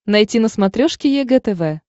найти на смотрешке егэ тв